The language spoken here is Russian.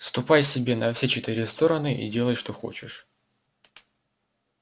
ступай себе на все четыре стороны и делай что хочешь